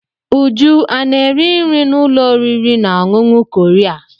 Uju ana-eri nri n'ụlọ oriri na ọṅụṅụ Korea?